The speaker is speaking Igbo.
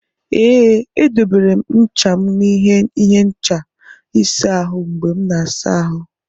Ee, edobere m ncha m n'ihe ịhe ncha ịsa ahụ mgbe m na-asa ahụ.